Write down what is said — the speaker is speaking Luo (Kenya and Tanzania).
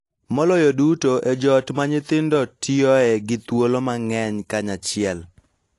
Maloyo duto e joot ma nyithindo tiyoe gi thuolo mang�eny kanyachiel.